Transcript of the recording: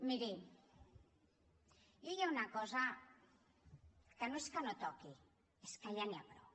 miri jo hi ha una cosa que no és que no toqui és que ja n’hi ha prou